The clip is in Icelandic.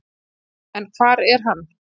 En hvar er hann?